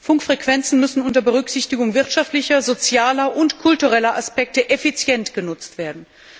Funkfrequenzen müssen unter Berücksichtigung wirtschaftlicher, sozialer und kultureller Aspekte effizient genutzt werden.